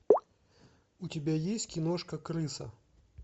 у тебя есть киношка крыса